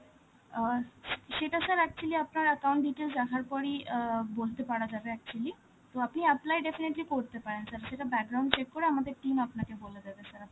অ্যাঁ সেটা sir actually আপনার account details দেখার পরই অ্যাঁ বলতে পারা যাবে actually. তো আপনি apply definitely করতে পারেন sir, সেটা check করে আমাদের team আপনাকে বলে দেবে sir